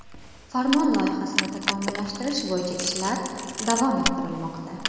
Farmon loyihasini takomillashtirish bo‘yicha ishlar davom ettirilmoqda.